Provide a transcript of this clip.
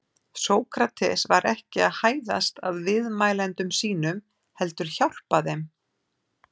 Sókrates var ekki að hæðast að viðmælendum sínum heldur hjálpa þeim.